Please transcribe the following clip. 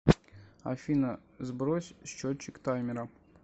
афина сбрось счетчик таймера